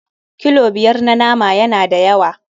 Kilo biyar na nama yana da yawa.